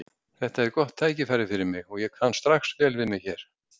Þetta er gott tækifæri fyrir mig og ég kann strax vel við mig hér.